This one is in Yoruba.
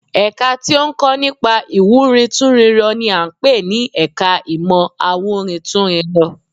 Ẹ̀ka tí ó ń kọ́ nípa ìwúrintúnrinrọ n i à ń pè ní ẹka ìmọ̀ awúrintúnrinrọ